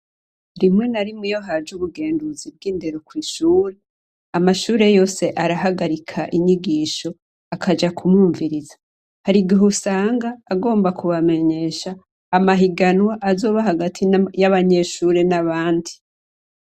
Rimwe na rimwe iyo haje ubugenduzi bw'indero kw'ishure, Amashure yose arahagarika inyigisho akabumviriza. harigihe usanga agomba kubamenyesha amahiganwa azoba hagati y'abanyeshure n'abandi.